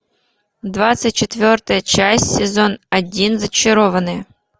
двадцать четвертая часть сезон один зачарованные